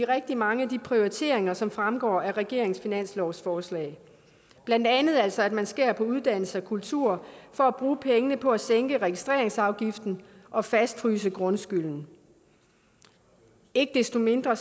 rigtig mange af de prioriteringer som fremgår af regeringens finanslovsforslag blandt andet altså at man skærer på uddannelse og kultur for at bruge pengene på at sænke registreringsafgiften og fastfryse grundskylden ikke desto mindre